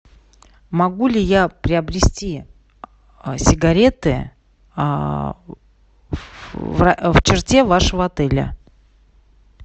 могу ли я приобрести сигареты в черте вашего отеля